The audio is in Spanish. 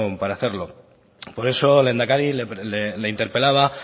para hacerlo por eso lehendakari le interpelaba